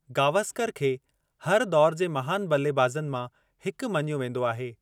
गावस्कर खे हर दौर जे महान ब॒ल्लेबाज़नि मां हिकु मञियो वेंदो आहे।